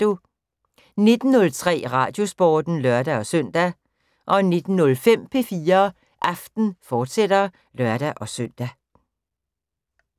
19:03: Radiosporten (lør-søn) 19:05: P4 Aften, fortsat (lør-søn)